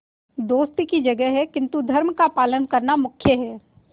दोस्ती की जगह है किंतु धर्म का पालन करना मुख्य है